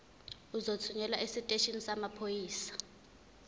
uzothunyelwa esiteshini samaphoyisa